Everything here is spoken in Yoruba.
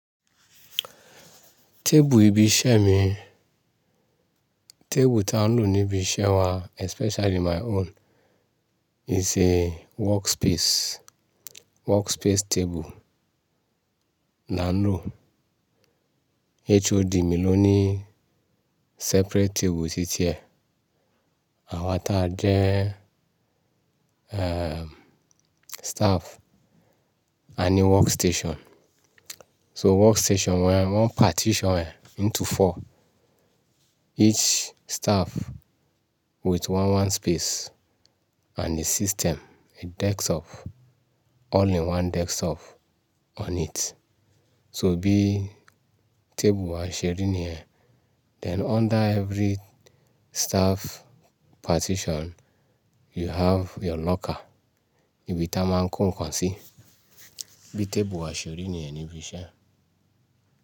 Tébù ibi iṣẹ́ mi, tébù tí a ń lò níbi iṣẹ́ wa especially my own is a workspace, workspace table là ń lò. HOD mi ló ní separate table títí ẹ, àwa táa jẹ́, eh, staff a ní workstation. So workstation wẹ́n, wọ́n partition ẹ̀ into four. Each staff with one one space and a system, a desktop, all in one desktop on it. So bí tébù wa ṣeri nìyẹn, then under every staff partition you have your locker, ibi tí a máa ń kó nǹkan sí. Bí tébù wa ṣeré ní ẹ níbi iṣẹ́.